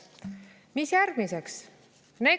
Mis järgmiseks?